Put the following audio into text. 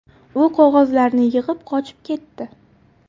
U qog‘ozlarni yig‘ib, qochib ketdi.